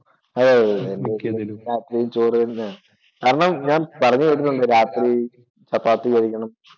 അതെതെതെ രാത്രിയിലും ചോറ് തന്നെയാ. കാരണം ഞാൻ പറഞ്ഞു വരുന്നുണ്ട് രാത്രി ചപ്പാത്തി കഴിക്കണം